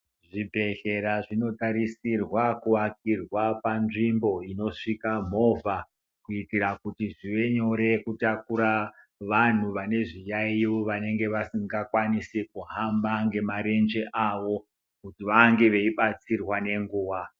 Zvibhedhlera zvinotarisirwa kuwakirwa panzvimbo inosvika movha kuitira kuti zvive nyore kutakura vanhu vane zviyayiyo vanenge vasingakwanisi kuhamba ngemarenje avo kuti vange veyibatsirwa nenguwa.